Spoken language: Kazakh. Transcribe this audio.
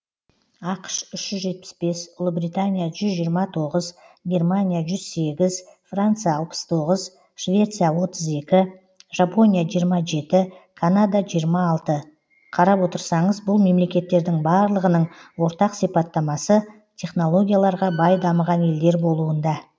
ақш үш жүз жетпіс бес ұлыбритания жүз жиырма тоғыз германия жүз сегіз франция алпыс тоғыз швеция отыз екі жапония жиырма жеті канада жиырма алты қарап отырсаңыз бұл мемлекеттердің барлығының ортақ сипаттамасы технологияларға бай дамыған елдер болуында